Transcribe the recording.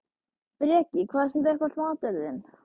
Breki: Hvað er samt uppáhalds maturinn þinn?